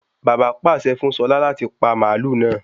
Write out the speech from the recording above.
Bàbá pàṣẹ fún Ṣọlá láti pa màlúù náà.